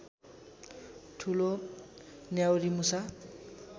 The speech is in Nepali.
ठुलो न्याउरीमुसा